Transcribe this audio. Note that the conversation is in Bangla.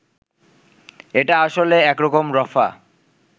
এটা আসলে একরকম রফা